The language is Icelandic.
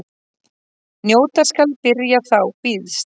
Njóta skal byrjar þá býðst.